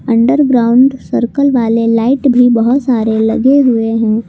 Underground circle वाले light भी बहोत सारे लगे हुए हैं।